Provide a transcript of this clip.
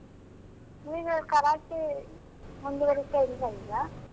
ನೀವು ಕರಾಟೆ ಮುಂದುವರಿತ ಇಲ್ವಾ ಈಗ?